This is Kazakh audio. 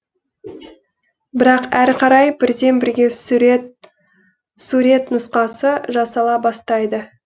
бірақ әрі қарай бірден бірге сурет нұсқасы жасала бастайды